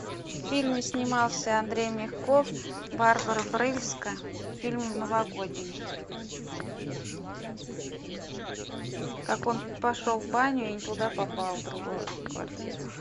в фильме снимался андрей мягков барбара брыльска фильм новогодний как он пошел в баню и не туда попал в другую квартиру